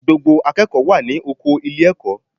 Gbogbo akẹ́kọ̀ọ́ wà ní oko ilé-ẹ̀kọ́